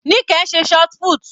Nike ń ṣe shotput.